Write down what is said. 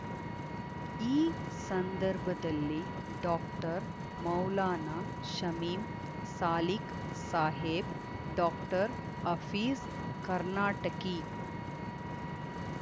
ಈ ಸಂದರ್ಭದಲ್ಲಿ doctor Maulana Shamim Salik Saheb doctor Afeez Karnataki